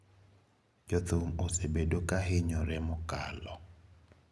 "Jothum osebedo kahinyore mokalo.